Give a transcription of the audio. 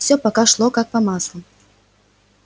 всё пока шло как по маслу